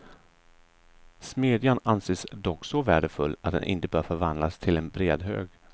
Smedjan anses dock så värdefull att den inte bör förvandlas till en brädhög.